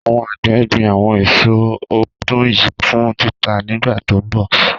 Àwọn àgbẹ̀ gbin àwọn èso ọdún yìí fún títà nígbà tó ń bọ̀.